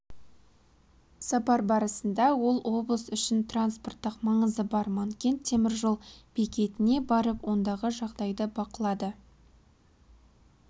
сапар барысында ол облыс үшін транспорттық маңызы бар манкент темір жол бекетіне барып ондағы жағдайды бақылады